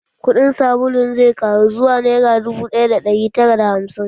Kuɗin sabulun zai ƙaru zuwa nera dubu ɗaya da ɗari tara da hamsin.